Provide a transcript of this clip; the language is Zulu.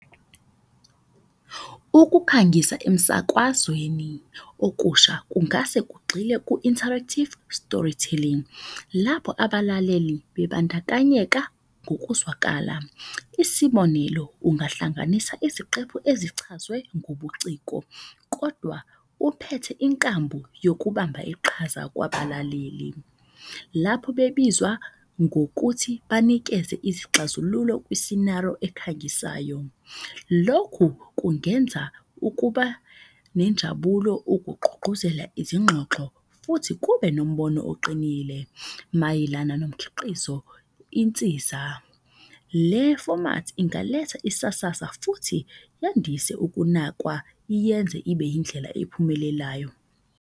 Ukukhangisa emsakwazweni okusha kungase kugxile ku-interactive story telling, lapho abalaleli bebandakanyeka ngokuzwakala. Isibonelo, ungahlanganisa iziqephu ezichazwe ngobuciko, kodwa uphethe inkambu yokubamba iqhaza kwabalaleli. Lapho bebizwa ngokuthi banikeze izixazululo kwisinaro ekhangisayo. Lokhu kungenza ukuba nenjabulo ukugqugquzela izingxoxo futhi kube nombono oqinile. Mayelana nomkhiqizo insiza, le fomathi ingaletha isasasa futhi yandise ukunakwa yenze ibe indlela ephumelelayo.